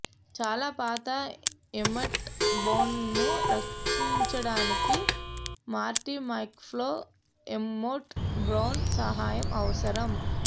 చాలా పాత ఎమ్మెట్ బ్రౌన్ను రక్షించడానికి మార్టి మక్ఫ్లై ఎమ్మేట్ బ్రౌన్ సహాయం అవసరం